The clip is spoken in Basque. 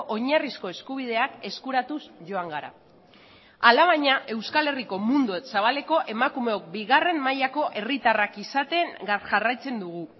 oinarrizko eskubideak eskuratuz joan gara alabaina euskal herriko mundu zabaleko emakumeok bigarren mailako herritarrak izaten jarraitzen dugu